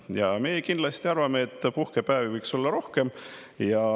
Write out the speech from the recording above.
Ja meie kindlasti arvame, et puhkepäevi võiks olla rohkem.